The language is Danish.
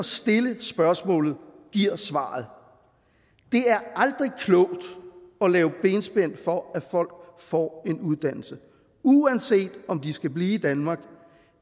stille spørgsmålet giver svaret det er aldrig klogt at lave benspænd for at folk får en uddannelse uanset om de skal blive i danmark